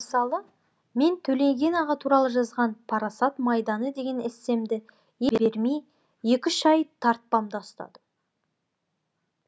мысалы мен төлеген аға туралы жазған парасат майданы деген эссемді бермей екі үш ай тартпамда ұстадым